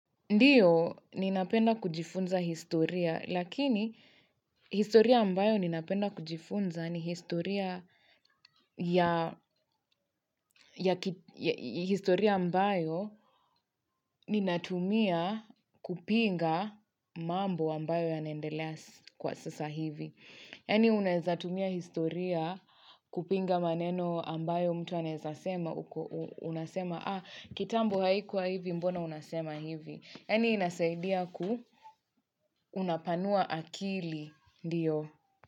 Ndiyo, ninapenda kujifunza historia, lakini historia ambayo ninapenda kujifunza ni historia historia ambayo ninatumia kupinga mambo ambayo yanaendelea kwa sasa hivi. Yani unaeza tumia historia kupinga maneno ambayo mtu anaezasema, uko unasema, kitambo haikuwa hivi mbona unasema hivi. Yaani inasaidia ku unapanua akili, ndiyo.